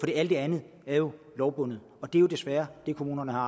det andet er jo lovbundet og det er jo desværre det kommunerne har